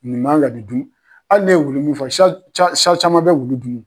Nin man ka nin dun hali ne ye wulu mun fa caman bɛ wulu dun wo.